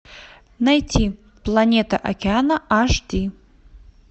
найти планета океана аш ди